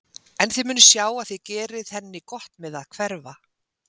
En þið munuð sjá að þið gerið henni gott með að hverfa.